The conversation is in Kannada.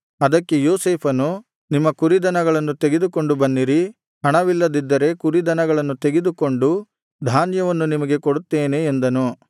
ಅದಕ್ಕೆ ಯೋಸೇಫನು ನಿಮ್ಮ ಕುರಿದನಗಳನ್ನು ತೆಗೆದುಕೊಂಡು ಬನ್ನಿರಿ ಹಣವಿಲ್ಲದಿದ್ದರೆ ಕುರಿದನಗಳನ್ನು ತೆಗೆದುಕೊಂಡು ಧಾನ್ಯವನ್ನು ನಿಮಗೆ ಕೊಡುತ್ತೇನೆ ಎಂದನು